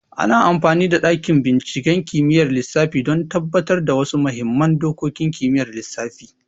Ana amfani da dakin binciken kimiyyar lissafi don tabbatar da wasu muhimman dokokin kimiyyar lissafi.